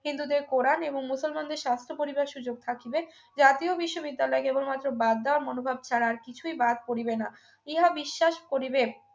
হিন্দুদের কোরআন এবং মুসলমানদের শাস্ত্র পড়িবার সুযোগ থাকিবে জাতীয় বিশ্ববিদ্যালয় কেবলমাত্র বাদ দেওয়া মনোভাব ছাড়া আর কিছুই বাদ পড়িবে না ইহা বিশ্বাস করিবে